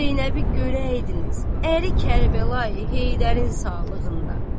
Zeynəbi görəydiniz əri Kərbəlayi Heydərin sağlığında.